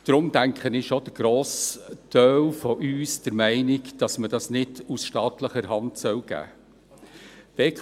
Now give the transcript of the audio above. Deshalb denke ich, ist auch der Grossteil von uns der Meinung, dass man das nicht aus staatlicher Hand geben sollte.